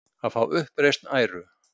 Að fá uppreisn æru